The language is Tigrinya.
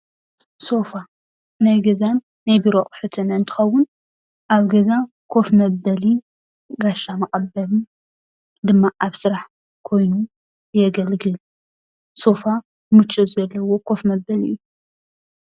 ሶፋ ናይ ገዛን ናይ ቢሮ ኣቁሑትን እንትከውን ኣብ ገዛ ኮፍ መበሊ ጋሻ መቀበሊ ድማ ኣብ ስራሕ ኮይኑ የገልግል ሶፋ ምቾት ዘለዎ ኮፉ መበሊ እዩ።